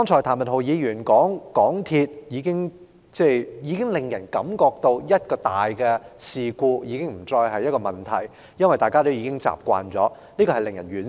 譚文豪議員剛才提到，香港鐵路有限公司已經予人一個印象，就是重大事故已不再是一個問題，因為大家已經習以為常，這實在令人惋惜。